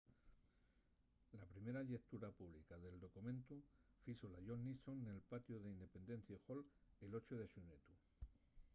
la primera llectura pública del documentu fízola john nixon nel patiu del independence hall el 8 de xunetu